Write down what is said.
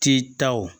Titaw